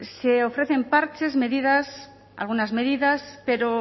se ofrecen parches medidas algunas medidas pero